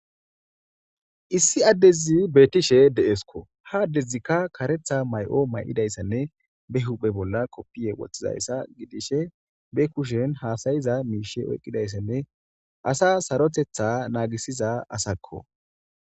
Issi addezi beettishe de7eeskko. Ha addezi kareetha mayo ma7idassanne be huuphe bolla koppiya wothizaysaa gidishe be kushen haasayiza miisheta oyqqidassanne gidishin asaas sarotetha naagisiza asakko